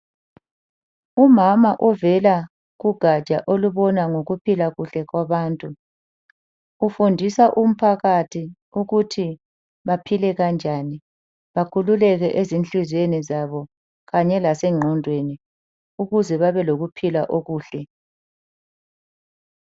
Umama ovela kugatsha olubona ngokuphila kuhle kwabantu. Ufundisa umphakathi ukuthi baphile kanjani, bakhululeke ezinhliziyweni zabo kanye lasengqondweni ukuze babelokuphila okuhle.